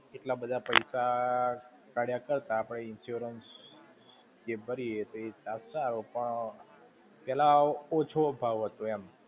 એટલા બધા પૈસા કાઢ્યા કરતા આપણે insurance જે ભરીયે તે સાથ સારો પણ, પેલા ઓછો ભાવ હતો, એમ.